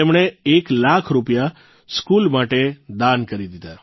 તેમણે એક લાખ રૂપિયા સ્કૂલ માટે દાન કરી દીધા